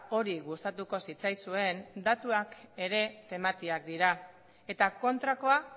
hori gustatuko zitzaizuen datuak ere tematiak dira eta kontrakoa